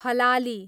हलाली